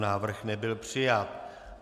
Návrh nebyl přijat.